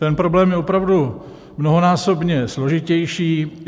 Ten problém je opravdu mnohonásobně složitější.